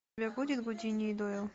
у тебя будет гудини и дойл